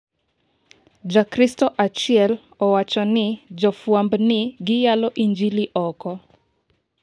jakristo achiel owachoni jofwamb ni giyalo injiligi oko